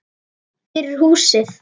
Fyrir húsið.